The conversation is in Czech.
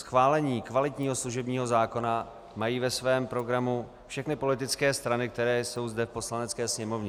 Schválení kvalitního služebního zákona mají ve svém programu všechny politické strany, které jsou zde v Poslanecké sněmovně.